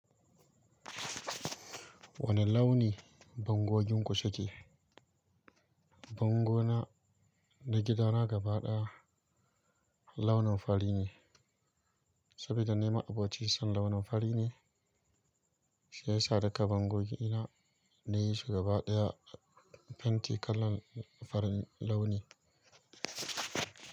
Wane launi bango ginku suke? Bango na na gida na gaba ɗaya launin fari ne, sabida ni ma'aboci son launin fari ne shiyasa duka bangogina nayi shi gaba ɗaya fenti kalan farin launi.